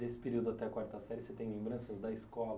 Desse período até a quarta série, você tem lembranças da escola?